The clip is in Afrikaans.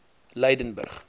lydenburg